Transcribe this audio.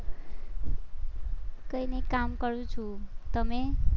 કઈ નઈ કામ કરું છું, તમે?